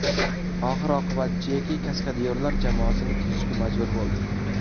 Oxir oqibat Jeki kaskadyorlar jamoasini tuzishga majbur bo‘ldi.